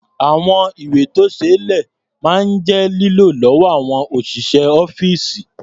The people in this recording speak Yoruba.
Àwọn ìwé-tó-ṣeé-lẹ̀ máa ń jẹ́ lílò lọ́wọ́ àwọn òṣìṣẹ́ ọ́fíìsì.